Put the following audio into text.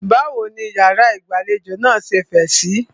Báwo ní ìyàrá ìgbàlejò náà ṣe fẹ̀ síí?